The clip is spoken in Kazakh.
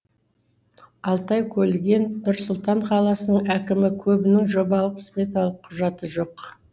алтай көлгінов нұр сұлтан қаласының әкімі көбінің жобалық сметалық құжаты жоқ